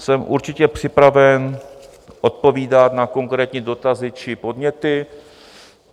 Jsem určitě připraven odpovídat na konkrétní dotazy či podněty.